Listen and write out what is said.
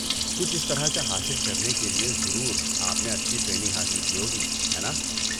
کچھ اس طرح کا حاصل کرنے کے لیے ضرور آپ نے اچھی ٹریننگ حاصل کی ہوگی، ہے ناں؟